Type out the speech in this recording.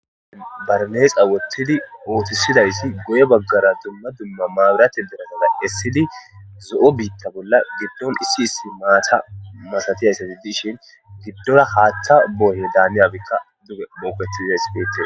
hn barneexa wottidi uotisidaysi goye baggara dumma dumma maawurate diratada essili zo7o biitta bolla giddon issi issi maata masatiyayssati dishin giddola haaththa booye daaniyawikka duge mooketizays betes